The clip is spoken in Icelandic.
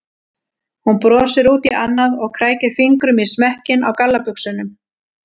Hún brosir út í annað og krækir fingrum í smekkinn á gallabuxunum.